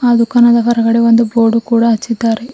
ಆ ದುಖಾನದ ಹೊರಗಡೆ ಒಂದು ಬೋರ್ಡು ಕೂಡ ಹಚ್ಚಿದ್ದಾರೆ.